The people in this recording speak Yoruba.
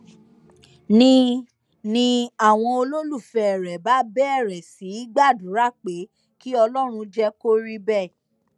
ni ni àwọn olólùfẹ rẹ bá bẹrẹ sí í gbàdúrà pé kí ọlọrun jẹ kó rí bẹẹ